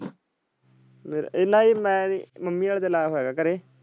ਮੇਰਾ ਇਹਨਾਂ ਮਮ੍ਮੀ ਆਲੇ ਤੇ ਨਾਲ ਹੋਏਗਾ ਘਰੇ।